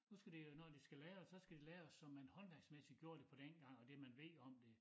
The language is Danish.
Nu skal det jo når de skal lave det så skal det laves som man håndværksmæssigt gjorde det på dengang og det man ved om det